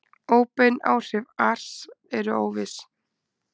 óbein áhrif ars eru óviss